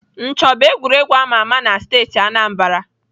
Ncho bụ egwuregwu ama ama na steeti Anambra.